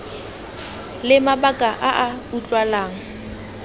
le mabaka a a utlwalang